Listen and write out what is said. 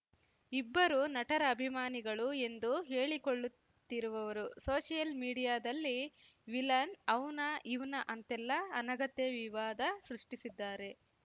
ಇಬ್ಬರು ನಟರ ಅಭಿಮಾನಿಗಳು ಎಂದು ಹೇಳಿಕೊಳ್ಳುತ್ತಿರುವವರು ಸೋಷಿಯಲ್‌ ಮೀಡಿಯಾದಲ್ಲಿ ವಿಲನ್‌ ಅವ್ನಾ ಇವ್ನಾ ಅಂತೆಲ್ಲ ಅನಗತ್ಯ ವಿವಾದ ಸೃಷ್ಟಿಸಿದ್ದಾರೆ